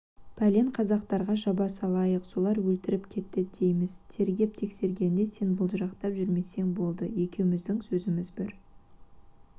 пәлен қазақтарға жаба салайық солар өлтіріп кетті дейміз тергеп-тексергенде сен былжырақтап жүрмесең болды екеуміздің сөзіміз бір